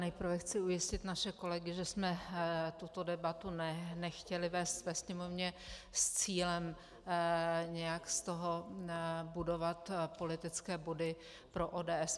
Nejprve chci ujistit naše kolegy, že jsme tuto debatu nechtěli vést ve Sněmovně s cílem nějak z toho budovat politické body pro ODS.